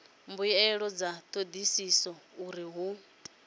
mbuelo dza thodisiso uri hu